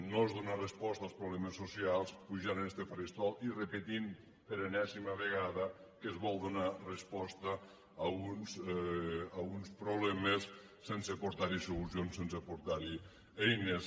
no és donar resposta als problemes socials pujar a este faristol i repetir per enèsima vegada que es vol donar resposta a uns problemes sense aportar hi solucions sense aportar hi eines